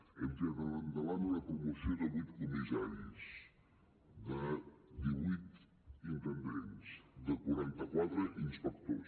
hem tirat endavant una promoció de vuit comissaris de divuit intendents de quaranta quatre inspectors